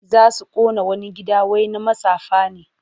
Za su ƙona wani gida wai na matsafa ne.